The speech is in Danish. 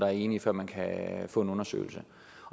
er enige før man kan få en undersøgelse